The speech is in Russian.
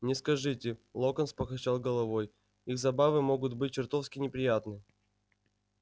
не скажите локонс покачал головой их забавы могут быть чертовски неприятны